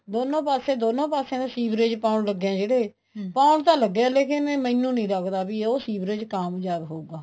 ਦੋਨੋਂ ਪਾਸੇ ਦੋਨੇ ਪਾਸਿਆ ਦਾ ਸੀਵਰੇਜ ਪਾਉਣ ਲੱਗੇ ਹੈ ਜਿਹੜੇ ਪਾਉਣ ਤਾਂ ਲੱਗੇ ਏ ਲੇਕਿਨ ਮੈਨੂੰ ਨਹੀਂ ਲੱਗਦਾ ਵੀ ਉਹ ਸੀਵਰੇਜ ਕਾਮਯਾਬ ਹੋਊਗਾ